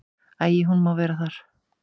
Æi, hún má vera þar.